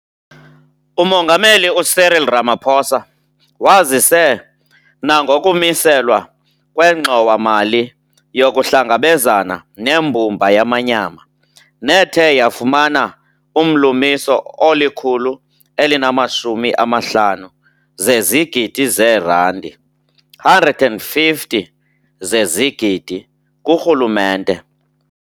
UMongameli u-Cyril Ramaphosa wazise nangokumiselwa kweNgxowa-mali yokuHlangabezana neMbumba yaManyama, nethe yafumana umlumiso olikhulu elinamashumi amahlanu zezigidi zeerandi, 150 zezigidi, kurhulumente.